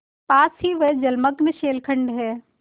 पास ही वह जलमग्न शैलखंड है